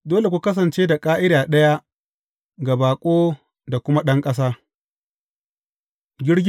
Dole ku kasance da ƙa’ida ɗaya ga baƙo da kuma ɗan ƙasa.’